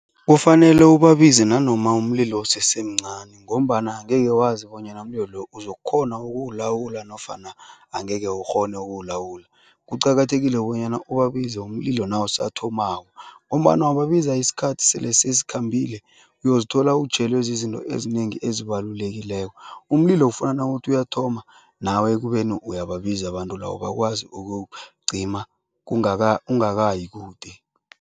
Kufanele ubabize nanoma umlilo usesemncani ngombana angeke wazi bonyana umlilo lo uzokukghona ukuwulawula nofana angeke ukghone ukuwulawula. Kuqakathekile bonyana ubabize umlilo nawusathomako ngombana wababiza isikhathi sele sesikhambile, uyozithola utjhelwe zizinto ezinengi ezibalulekileko. Umlilo ufuna nawuthi uyathoma, nawe ekubeni uyababiza abantu labo, bakwazi ukuwucima ungakayi kude.